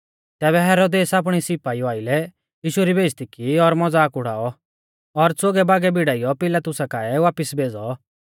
तैबै हेरोदेसै आपणै सिपाईउ आइलै यीशु री बेइज़्ज़ती की और मज़ाक उड़ाऔ और च़ोगैबोगै भिड़ाइयौ पिलातुसा काऐ बापिस भेज़ौ